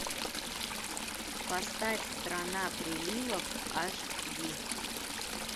поставь страна приливов аш ди